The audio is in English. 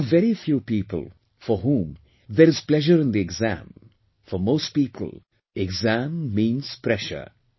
But there are very few people for whom there is pleasure in the exam; for most people exam means pressure